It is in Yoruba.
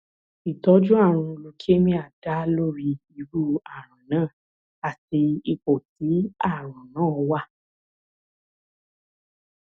ìtọjú ààrùn leukemia dá lórí irú ààrùn náà àti ipò tí ààrùn náà wà